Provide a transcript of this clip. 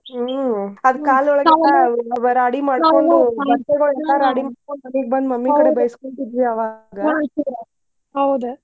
ಹ್ಮ್ ಆದ ಕಾಲೆಲ್ಲಾ ರಾಡಿ ಮಾಡ್ಕೊಂಡ್ ಬಟ್ಟೆಗೋಳಂಕರ್ ಮನಿಗೆ ಬಂದ್ mummy ಕಡೆ ಬೈಸ್ಕೊತಿದ್ವಿ ಅವಾಗ.